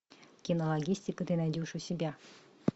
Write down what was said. кинологистика ты найдешь у себя